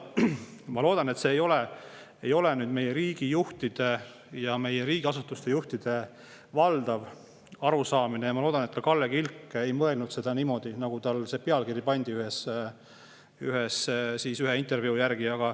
Ma loodan, et see ei ole nüüd meie riigi juhtide ja meie riigiasutuste juhtide valdav arusaamine, ja ma loodan, et ka Kalle Kilk ei mõelnud niimoodi, nagu pealkiri ühele intervjuule pandi.